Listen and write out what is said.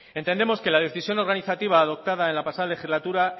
entendemos que la decisión organizativa adoptada en la pasada legislatura